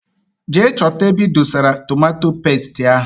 Jee chọta ebe idosara tomato pestie ahụ!!!!!